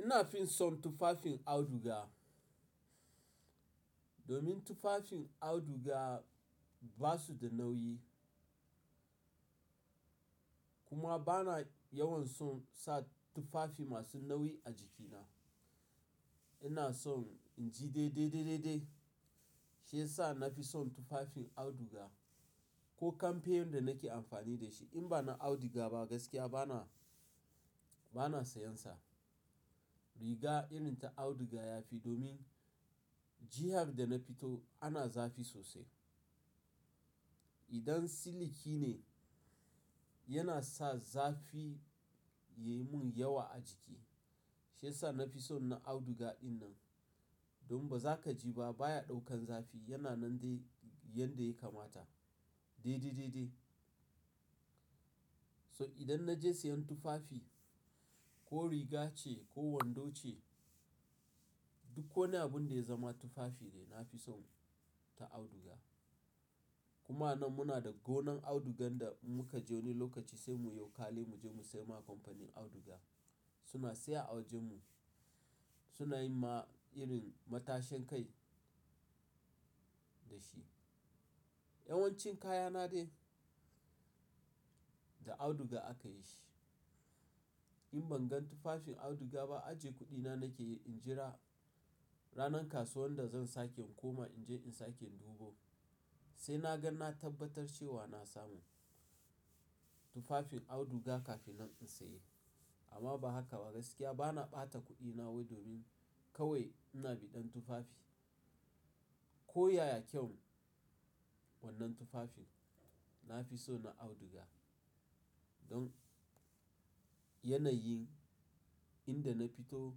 Ina fi son tufafin auduga. Domin tufafin auduga ba su da nauyi. Kuma ba na yawan son sa tufafi masu nauyi a jikina. Ina son in ji dai dai dai dai dai. Shiyasa na fi son tufafin auduga ko kamfe yanda nake amfani da shi. In ba na auduga ba gaskiya ba na, ba na sayan sa. Riga irin ta auduga ya fi domin jihar da na fito ana zafi sosai. Idan siliki ne, yana sa zafi ya yi mun yawa a jiki. Shiyasa na fi son na auduga dinnan. Domin ba za ka ji ba baya ɗaukan zafi yana nan dai yanda ya kamata. Dai dai dai dai. So idan na je sayan tufafi ko riga ce ko wando ce, duk ko ne abun da ya zama tufafi ne, na fi son ta auduga. Kuma nan muna da gonan audugan da muka je wani lokaci sai mu yi wo kale mu je mu sai ma kamfanin auduga. Riga irin ta auduga ya fi domin jihar da na fito ana zafi sosai. Idan siliki ne, yana sa zafi ya yi mun yawa a jiki. Yanayimma irin matashin kai dashi. Yawancin kayana dai da auduga akayi shi in bangan tufafin auduga ba aje kudina nakeyi injra Ranar kasuwan da zan sake in koma in je in sake in dubo. Sai na ga na tabbatar cewa na samu tufafin auduga kafin na in saye. Amma ba haka ba gaskiya ba na ɓata kuɗina wai domin kawai ina bidan tufafi ko yaya kyau wannan tufafin nafison na auduga in yanayi inda nafito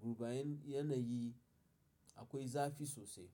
to bayan yanayi akwai zafu sosai.